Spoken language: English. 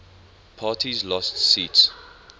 parties lost seats